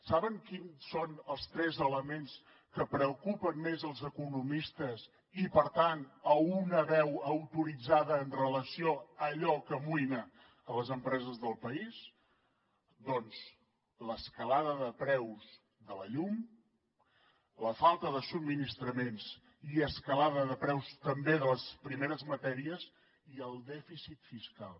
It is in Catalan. saben quins són els tres elements que preocupen més els economistes i per tant una veu autoritzada amb relació a allò que amoïna les empreses del país doncs l’escalada de preus de la llum la falta de subministraments i escalada de preus també de les primeres matèries i el dèficit fiscal